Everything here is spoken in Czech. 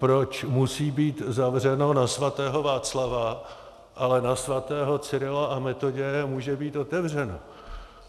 Proč musí být zavřeno na svatého Václava, ale na svatého Cyrila a Metoděje může být otevřeno?